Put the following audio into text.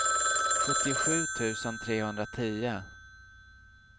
sjuttiosju tusen trehundratio